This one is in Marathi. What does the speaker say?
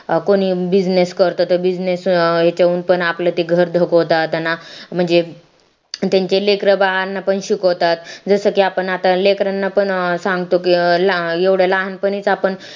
कोणी business करत ते business याच्याहून पण आपलं ते घर धकावतात म्हणजे अं त्याच्या लेकरा बाळांना पण शिकवतात जसं की आपण आता लेकरांना अं पण सांगतो की एवढ्या लहानपणी च आपण